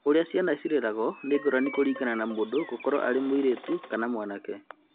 ũrĩa ciana ireragwo nĩ ngũrani kũringana na mũndũ gũkorwo mũirĩtu kana mwanake.